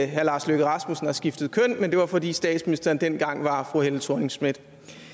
herre lars løkke rasmussen har skiftet køn men det var fordi statsministeren dengang var fru helle thorning schmidt